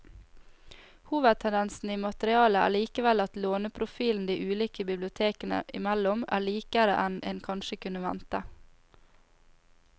Hovedtendensen i materialet er likevel at låneprofilen de ulike bibliotekene imellom er likere enn en kanskje kunne vente.